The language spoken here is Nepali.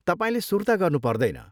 तपाईँले सुर्ता गर्नु पर्दैन।